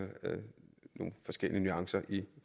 de forskellige nuancer i